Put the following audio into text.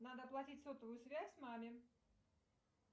надо оплатить сотовую связь маме